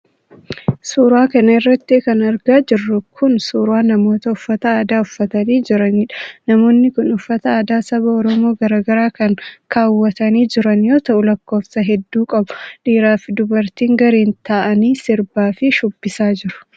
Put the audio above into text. Suura kana irratti kan argaa jirru kun ,suura namoota uffata aadaa uffatanii jiraniidha. Namoonni kun uffata aadaa saba oromoo garaa garaa kan kaawwatanii jiran yoo ta'u, lakkoofsa hedduu qabu. Dhiiraa fi dubartiin gareen ta'anii sirbaa fi shubbisaa jiru.